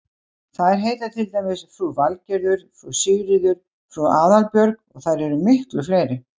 Þær heita til dæmis frú Valgerður, frú Sigríður, frú Aðalbjörg og þær eru miklu fleiri.